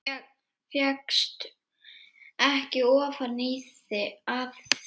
Fékkst ekki ofan af því.